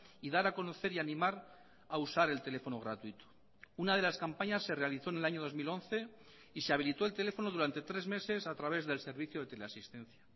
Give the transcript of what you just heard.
y dar a conocer y animar a usar el teléfono gratuito una de las campañas se realizó en el año dos mil once y se habilito el teléfono durante tres meses a través del servicio de teleasistencia